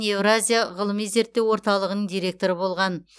еуразия ғылыми зерттеу орталығының директоры болған